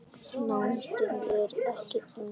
Nándin er ekki eins mikil.